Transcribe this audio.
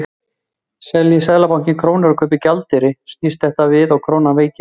Selji Seðlabankinn krónur og kaupir gjaldeyri snýst þetta við og krónan veikist.